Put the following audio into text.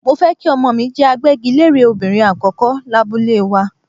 Mo fẹ́ kí Ọmọọ̀ mi jẹ́ agbẹ́gilére obìnrin àkọ́kọ́ lábúlé wa.